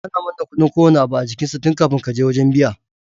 Ana manna kudin kowanne abu a jikin sa tun kafin kaje wajan biya